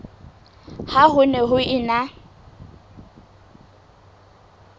ha ho ne ho ena